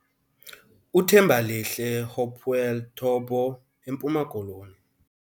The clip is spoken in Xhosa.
UThembalihle Hopewell Tobo - eMpuma Koloni